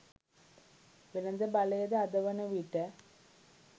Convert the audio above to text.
වෙළද බලයද අද වන විට